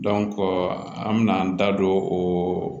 an mena an da don o